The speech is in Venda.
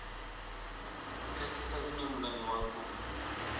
pfesesa zwine mulayo wa khou